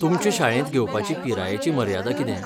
तुमचे शाळेंत घेवपाची पिरायेची मर्यादा कितें?